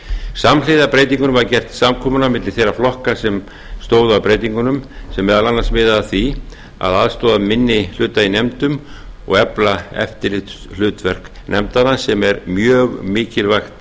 samhliða breytingunum var gert samkomulag á milli þeirra flokka sem stóðu að breytingunum sem meðal annars miðaði að því að aðstoða minni hluta í nefndum og efla eftirlitshlutverk nefndanna sem er mjög mikilvægt